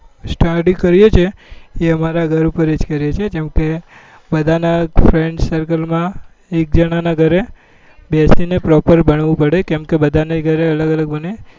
બ study કરીએ છીએ એ અમારા ઘરે જ કરીએ છીએ જેમ કે બધા ના friends circle માં એક જણા નાં ઘરે બેસી ને proper ભણવું પડે કેમ કે બધા ના ઘરે અલગ અલગ ભણે